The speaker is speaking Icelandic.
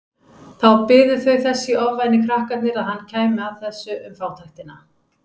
Þá biðu þau þess í ofvæni krakkarnir að hann kæmi að þessu um fátæktina.